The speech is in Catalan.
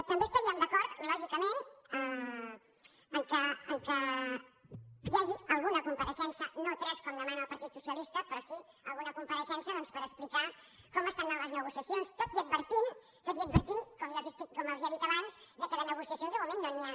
també estaríem d’acord lògicament que hi hagi alguna compareixença no tres com demana el partit socialista però sí alguna compareixença doncs per explicar com estan anant les negociacions tot i advertint com els he dit abans que de negociacions de moment no n’hi ha